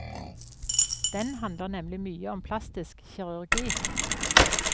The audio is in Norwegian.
Den handler nemlig mye om plastisk kirurgi.